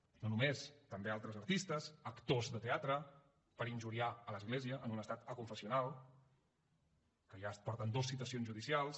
no només també altres artistes actors de teatre per injuriar l’església en un estat aconfessional que ja porten dos citacions judicials